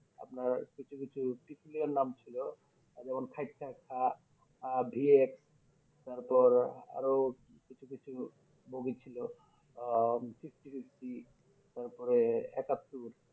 আপনার কিছু কিছু টিটির নাম ছিল আহ যেমন VX তারপর আরো কিছু কিছু বগি ছিল আহ Fifty Fifty তারপরে একাত্তর